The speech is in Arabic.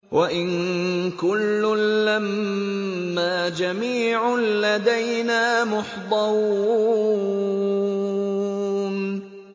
وَإِن كُلٌّ لَّمَّا جَمِيعٌ لَّدَيْنَا مُحْضَرُونَ